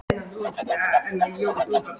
Kalla, læstu útidyrunum.